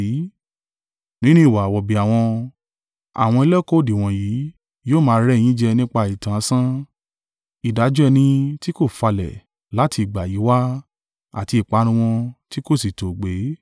Nínú ìwà wọ̀bìà wọn, àwọn ẹlẹ́kọ̀ọ́ òdì wọ̀nyí yóò máa rẹ́ ẹ yín jẹ nípa ìtàn asán. Ìdájọ́ ẹni tí kò falẹ̀ láti ìgbà yìí wá àti ìparun wọn tí kò sí tòògbé.